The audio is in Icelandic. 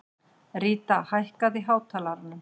Ríta, hækkaðu í hátalaranum.